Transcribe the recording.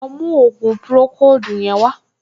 Lọ mú ògùn pùròkóòdù yẹn wá!